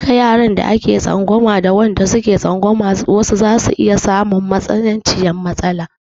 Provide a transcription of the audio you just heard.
Duka yaran da ake tsangwama da wanda suke tsangwamar wasu zasu iya samun matsananciyar matsala.